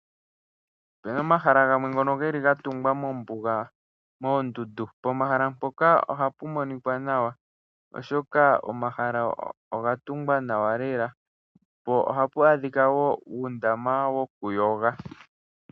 Ope na omahala gamwe ngono ge li ga tungwa mombuga poondundu pomahala mpoka ohapa monika nawa. Omahala ngaka oga tungwa nawa lela po ohapa adhika uundama wokuyoga.